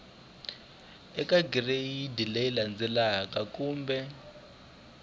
eka gireyidi leyi landzelaka kumbe